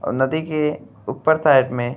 और नदी के ऊपर साइड में --